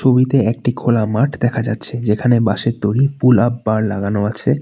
ছবিতে একটা খোলা মাঠ দেখা যাচ্ছে যেখানে বাঁশের তৈরি পুল আপ বার লাগানো আছে।